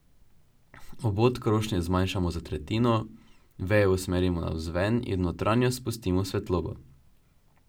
Obod krošnje zmanjšamo za tretjino, veje usmerimo navzven in v notranjost spustimo svetlobo.